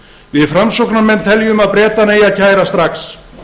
við framsóknarmenn teljum að bretana eigi að kæra strax